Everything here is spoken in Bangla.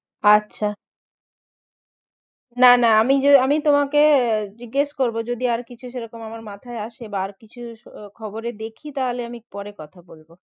আচ্ছা না না আমি আমি তোমাকে জিজ্ঞাসা করবো যদি আর কিছু সেরকম আমার মাথায় আসে বা আর কিছু খবরে দেখি তাহলে আমি পরে কথা বলবো